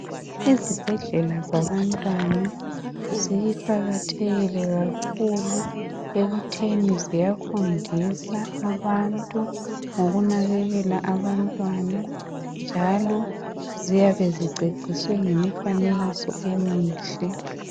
IZibhedlela zabantwana ziqakathekile kakhulu ekuthini ziyafunsisa abantu, ngokunakekela abantwana njalo ziyabe ziceviswe ngemifanekiso emihle.